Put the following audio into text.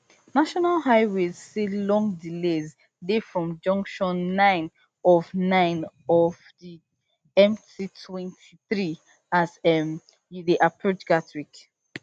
national highways say long delays dey from junction nine of nine of di mtwenty-three as um you dey approach gatwick